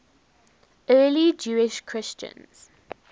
early jewish christians